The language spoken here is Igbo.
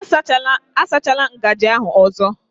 A sachala ngaji ahụ ọzọ